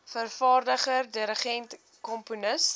vervaardiger dirigent komponis